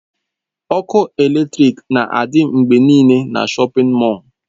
Ọkụ eletrik na-adị mgbe niile na shọpin mọll.